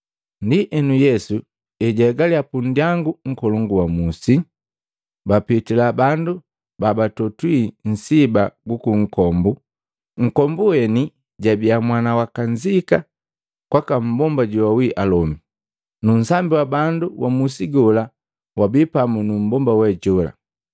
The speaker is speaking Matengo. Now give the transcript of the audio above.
Ndienu, Yesu ejahegalya pundyangu nkolongu wa musi, bapitila bandu babatotwi nsiba guku nkombu, nkombu weni jabia mwana wa kanzika kwaka mmbomba joawi alomi. Nu nsambi wa bandu wa musi gola wabi pamu nu mmbomba we jola.